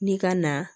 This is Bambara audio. Ni ka na